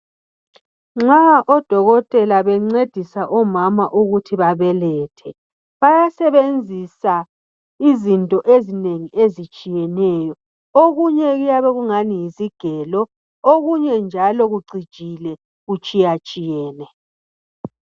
Nxa odokotela bencedisa omama ukuthi babelethe, basebenzisa izinto ezinengi ezitshiyeneyo. Okunye kuyabe kungathi yisigelo, okunye njalo kucijile kutshiyatshiyene.